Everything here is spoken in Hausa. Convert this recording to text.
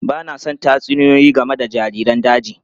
Ba na son tatsuniyoyi game da jariran daji.